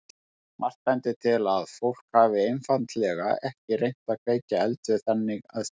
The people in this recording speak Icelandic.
Margt bendir til að fólk hafi einfaldlega ekki reynt að kveikja eld við þannig aðstæður.